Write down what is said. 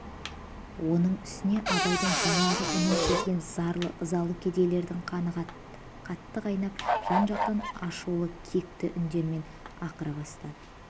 оның үстіне абайдың жаңағы үнін сезген зарлы ызалы кедейлердің қаны қатты қайнап жан-жақтан ашулы кекті үндермен ақыра бастады